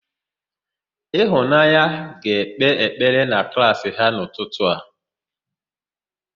Ịfụnanya ga-ekpe ekpere na klaasị ha n'ụtụtụ a.